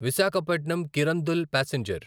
Visakhapatnam Kirandul passenger